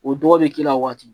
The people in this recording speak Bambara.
O dɔgɔ bɛ k'i la waati